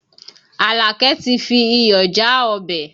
Àlàkẹ́ ti fi iyọ̀ já ọbẹ̀